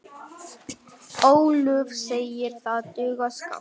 Ólöf segir það duga skammt.